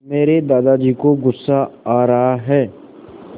मेरे दादाजी को गुस्सा आ रहा है